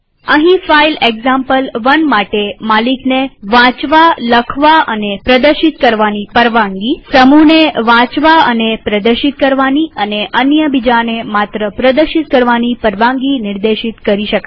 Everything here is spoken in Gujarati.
અહીં ફાઈલ એક્ઝામ્પલ1 માટે માલિકને વાંચવાનીલખવાનીપ્રદર્શિત કરવાની પરવાનગીસમૂહને વાંચવાનીપ્રદર્શિત કરવાની અને અન્ય બીજાને માત્ર પ્રદશિત કરવાની પરવાનગી નિર્દેશિત કરી શકાય